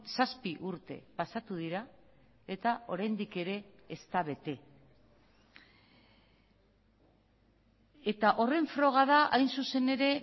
zazpi urte pasatu dira eta oraindik ere ez da bete eta horren froga da hain zuzen ere